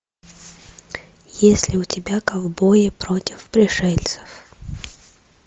есть ли у тебя ковбои против пришельцев